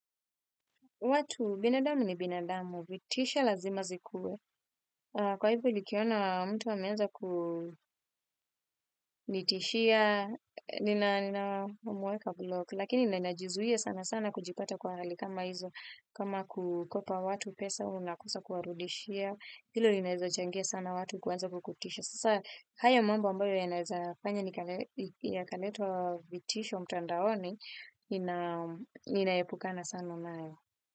Watu binadamu ni binadamu, vitisho lazima zikuwe. Kwa hivyo nikiona mtu ameenza kunitishia, ninamuweka block, lakini ninajizuia sana sana kujipata kwa hali kama hizo, kama kukopa watu pesa unakosa kuwarudishia, hilo linaweza changia sana watu kuanza kukutisha. Sasa haya mwamba ambayo yanaweza fanya yakaletwa vitisho mtandaoni, inaepukana sana nayo.